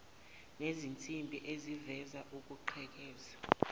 nezinsimbi ezivimba ukugqekeza